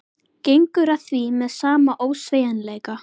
Gengur að því með sama ósveigjanleika.